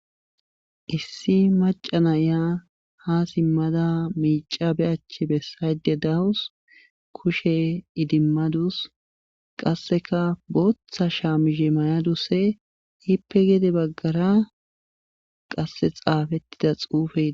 Issi macanayya ha simmada miica be achche bessayde dawus kushe idimmadus qasseka booththa shaamishe mayaduse hiippe gede baggara qasse xaafettida xuufe